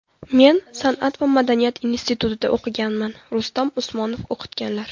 Men San’at va madaniyat institutida o‘qiganman, Rustam Usmonov o‘qitganlar.